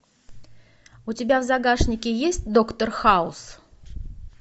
у тебя в загашнике есть доктор хаус